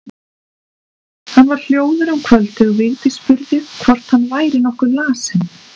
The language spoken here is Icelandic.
Hann var hljóður um kvöldið og Vigdís spurði hvort hann væri nokkuð lasinn.